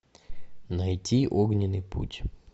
найти огненный путь